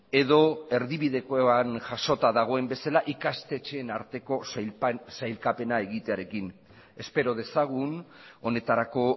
edo erdibidekoan jasota dagoen bezala ikastetxeen arteko sailkapena egitearekin espero dezagun honetarako